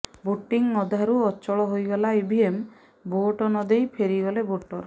voting ଅଧାରୁ ଅଚଳ ହୋଇଗଲା ଇଭିଏମ ଭୋଟ ନ ଦେଇ ଫେରିଗଲେ ଭୋଟର